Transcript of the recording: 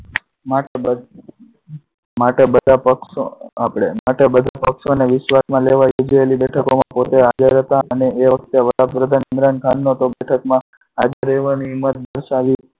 માટે બધા પક્ષો, આપણે, માટે બધા પક્ષોને વિશ્વાસમાં લેવા જોઈએ છેલ્લી બેઠકો માં પોતે હાજર હતા અને એ વખતે વડાપ્રધાન ઇમરાનખાન નો હાજર રહ્યા અને એમાં